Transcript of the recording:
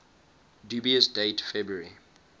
dubious date february